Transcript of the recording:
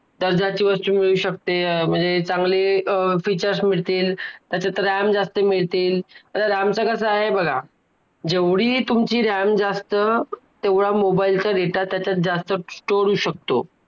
दर्जाची वस्तू मिळू शकते म्हणजे चांगली features मिळतील त्याच्यात RAM जास्त मिळतील, आता RAM च कसं आहे बघा, जेवढी तुमची RAM जास्त तेवढा mobile चा data त्याच्यात जास्त store होऊ शक